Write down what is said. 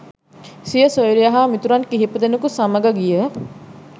සිය සොයුරිය හා මිතුරන් කිහිපදෙනෙකු සමග ගිය